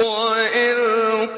وَإِذْ